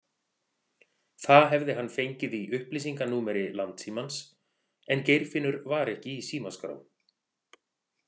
Það hefði hann fengið í upplýsinganúmeri Landssímans en Geirfinnur var ekki í símaskrá.